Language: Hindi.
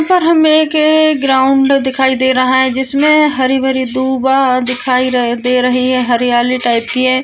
यहाँ पर हमे एक ये एक ग्राउंड दिखाई दे रहा है जिसमे हरिभरी दिखाई दे रही है। हरियाली टाइप की है।